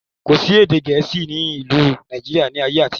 Kòsí èdè gẹ̀ẹ́sì ni ilu Nàìjíríà ni ayé àtijọ́